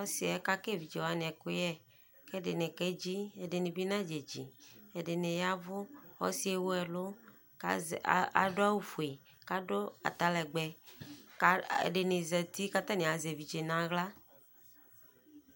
Ɔsiɛ kaka eviwani ɛkuyɛ ɛdini kedzi ɛdini nadedzi ɛdini yavu ɔsi ewu ɛlu kadu awu fue kadu atalɛgbɛ ɔsidini zati katani azɛ evidze nu aɣla